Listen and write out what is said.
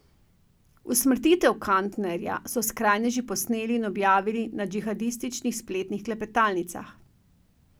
Usmrtitev Kantnerja so skrajneži posneli in objavili na džihadističnih spletnih klepetalnicah.